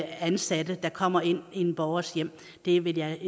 ansatte der kommer ind i en borgers hjem det vil jeg